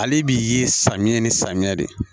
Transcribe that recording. Ale bi ye samiya ni samiya de